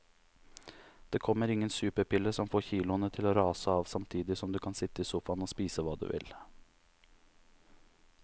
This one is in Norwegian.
Det kommer ingen superpille som får kiloene til å rase av samtidig som du kan sitte i sofaen og spise hva du vil.